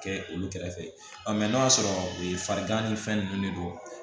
Kɛ olu kɛrɛfɛ mɛ n'o y'a sɔrɔ e farigan ni fɛn ninnu de don